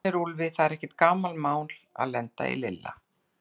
Hann vorkennir Úlfi, það er ekkert gamanmál að lenda í Lilla.